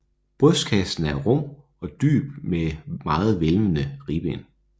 Brystkassen er dyb og rummelig med meget hvælvede ribben